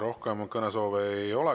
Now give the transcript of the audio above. Rohkem kõnesoove ei ole.